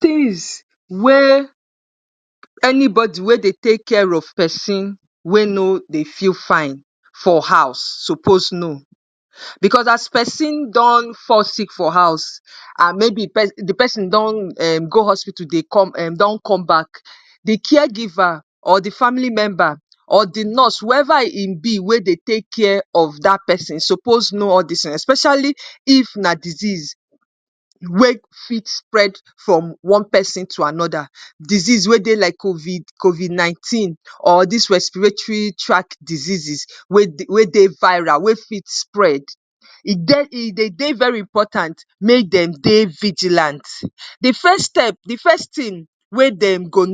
Tins wey anybody wey dey take care of pesin wey no dey feel fine for house suppose know. Because as pesin don fall sick for house and maybe di pesin don um go hospital um don come back, di care giver or di family member or di nurse, whoeva im be wey dey take care of dat pesin suppose know all dis tins, especially if na disease wey fit spread from one pesin to anoda. Disease wey dey like COVID COVID-19 or dis respiratory tract diseases wey wey dey viral, wey fit spread. E dey dey very important make dem dey vigilant. Di first step, di first tin wey dem go,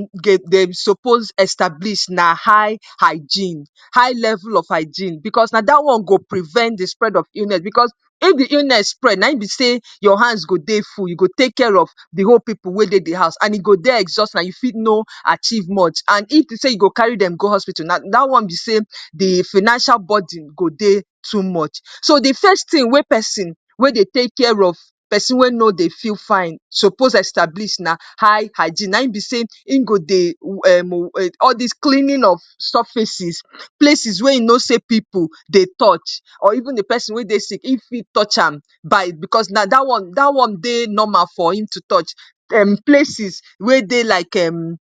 dem suppose establish na high hygiene, high level of hygiene, because na dat one go prevent di spread of illness. Because if di illness spread, na im be sey your hands go dey full. You go take care of di whole pipu wey dey di house and e go dey exhausting, and you fit no achieve much. And if to sey you go carry dem go hospital now, dat one be sey di financial burden go dey too much. So, di first tin wey pesin wey dey take care of pesin wey no dey feel fine suppose establish na high hygiene. Na im be sey im go dey um all dis cleaning of surfaces, places wey e know sey pipu dey touch or even di pesin wey dey sick, if e touch am by, because na dat one dat one dey normal for im to touch. um Places wey dey like um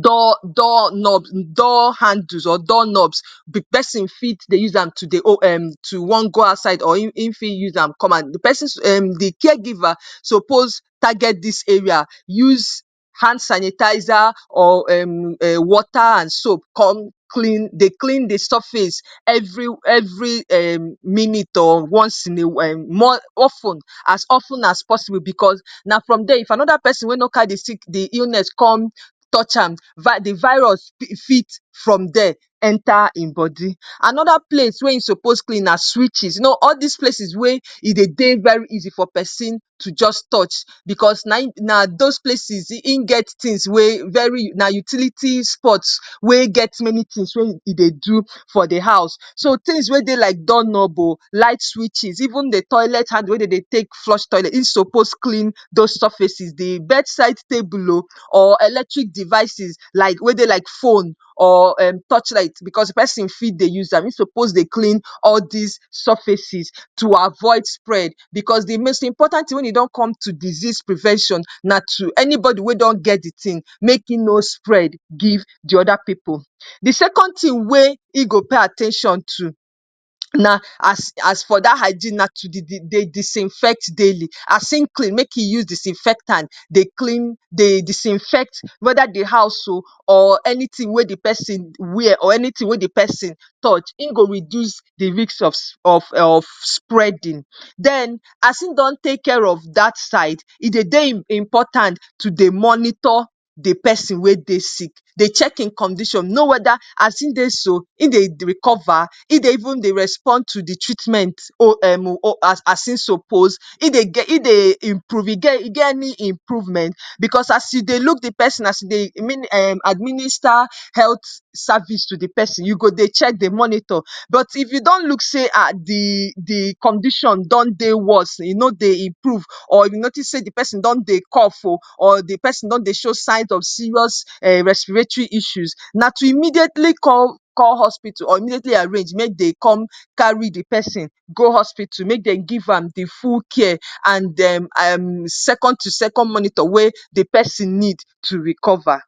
door door knobs, door handles or door knobs, di pesin fit dey use am to dey oh um to wan go outside or im fit use am come out. Di pesin um, di care giver suppose target dis area, use hand sanitizer or water and soap come clean dey clean di surface, every every um minute or once in a um of ten as of ten as possible because na from dia if anoda pesin wey no carry di sick di illness con touch am, di virus fit from dia enta im body. Anoda place wey im suppose clean na switches. You know all dis places wey e dey dey very easy for pesin to just touch because na im na those places im get tins wey very na utility spots wey get many tins wey e dey do for di house. So, tins wey dey like door knob oh, light switches, even toilet handle wey de dey take flush toilet, e suppose clean those surfaces, di bed side table oh or electric devices like wey dey like phone or torchlight. Because di pesin fit dey use am. Im suppose dey clean all dis surfaces to avoid spread, because di most important tin wey e don come to disease prevention na to anybody wey don get di tin, make im no spread give di oda pipu. Di second tin wey e go pay at ten tion to na as as for dat hygiene na to dey disinfect daily. As im clean, make e use disinfectant dey clean dey disinfect weda di house oh or anytin wey di pesin wear or anytin wey di pesin touch, im go reduce di risk of of spreading. Den, as im don take care of dat side, e dey dey important to dey monitor di pesin wey dey sick, dey check im condition. Know weda as im dey so, im dey recover? Im dey even respond to di treatment oh um as im suppose? Im dey improve? E get any improvement? Because as e dey look di pesin as e dey administa health service to di pesin, you go dey check, dey monitor. But, if you don look sey di condition don dey worse, e no dey improve or you notice sey di pesin don dey cough oh, or di pesin don dey show signs of serious um respiratory issues, na to immediately call hospital or immediately arrange make de come carry di pesin go hospital make dem give am di full care and um second to second monitor wey dey pesin need to recover.